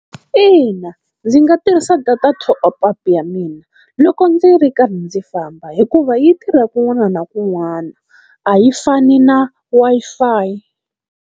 Ina ndzi nga tirhisa data top-up ya mina loko ndzi ri karhi ndzi famba, hikuva yi tirha kun'wana na kun'wana a yi fani na Wi-Fi.